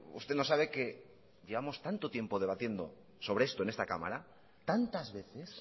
usted no sabe que llevamos tanto tiempo debatiendo sobre esto en esta cámara tantas veces